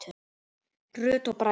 Rut og Bragi.